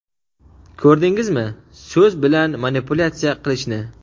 Ko‘rdingizmi so‘z bilan manipulyatsiya qilishni?.